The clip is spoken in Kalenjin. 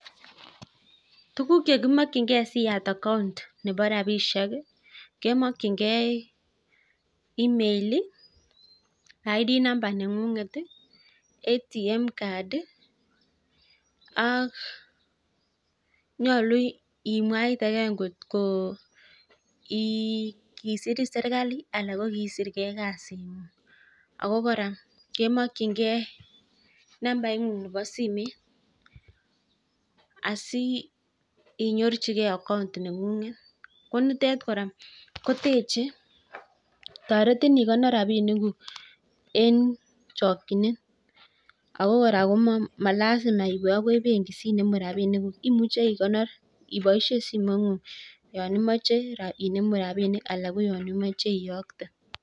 Tukuk chekimokchingei siyat account nebo rapinik, kemokchingei email ID number neng'unget atm card ako nyolu imwa kora ngoto kisirin serkali anan ko kiisirgei ikasing'ung ako kora kemokchingei nambaing'ung nebo simoit. Asi inyorchigei account neng'unget ko nitet kora kotoretin ikonor rapinikuk eng chokchinet ako kora malasima iwe akoi benki sinemu rapinikuk imuche ikonor iboishe simoing'ung yon imoche inemu rapinik anan ko yon imoche iyokte.